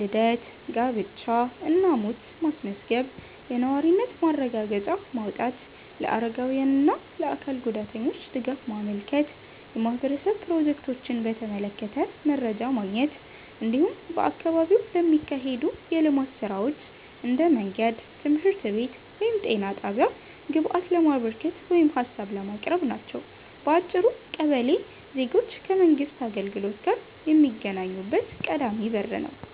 ልደት፣ ጋብቻ እና ሞት ማስመዝገብ፣ የነዋሪነት ማረጋገጫ ማውጣት፣ ለአረጋውያን እና ለአካል ጉዳተኞች ድጋፍ ማመልከት፣ የማህበረሰብ ፕሮጀክቶችን በተመለከተ መረጃ ማግኘት፣ እንዲሁም በአካባቢው ለሚካሄዱ የልማት ሥራዎች (እንደ መንገድ፣ ትምህርት ቤት ወይም ጤና ጣቢያ) ግብአት ለማበርከት ወይም ሀሳብ ለማቅረብ ናቸው። በአጭሩ ቀበሌ ዜጎች ከመንግሥት አገልግሎት ጋር የሚገናኙበት ቀዳሚ በር ነው።